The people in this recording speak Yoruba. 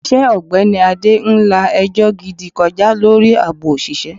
Ilé iṣẹ́ ogbeni Ade ń la ẹjọ́ gidi kọjá lórí àbò òṣìṣẹ́.